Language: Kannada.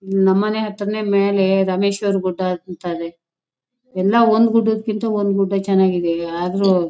ನಮ್ ಹತ್ರನೇ ಮೇಲೆ ರಾಮೇಶ್ವರ ಗುಡ್ಡ ಅಂತ ಇದೆ ಎಲ್ಲ ಒಂದ್ ಗುಡ್ಡಕ್ಕಿಂತ ಒಂದ್ ಗುಡ್ಡ ಚೆನ್ನಾಗ್ ಇದ್ದವೇ ಆದ್ರು--